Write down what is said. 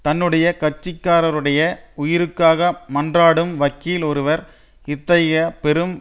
தன்னுடைய கட்சிக்காரருடைய உயிருக்காக மன்றாடும் வக்கீல் ஒருவர் இத்தகைய பெரும்